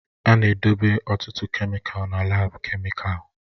A na-edobe ọtụtụ kemịkalụ na laabu kemịkalụ